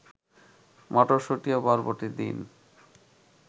মটরশুঁটি ও বরবটি দিন